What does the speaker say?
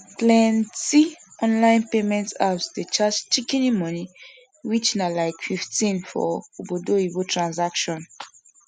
plenti online payment apps dey charge shikini money which na like 15 for obodoyibo transaction